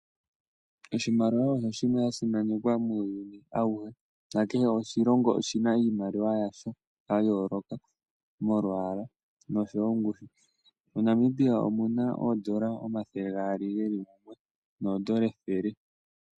Oshimaliwa osho oshinima shasimanekwa muuyuni auhe. Kehe oshilongo iimaliwa yasho ya yooloka molwaala oshowo ongushu. MoNamibia omuna oondola omathele gaali geli mumwe noondola ethele.